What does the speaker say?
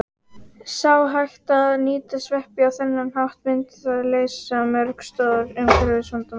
Sé hægt að nýta sveppi á þennan hátt myndi það leysa mörg stór umhverfisvandamál.